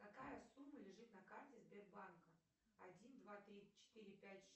какая сумма лежит на карте сбербанка один два три четыре пять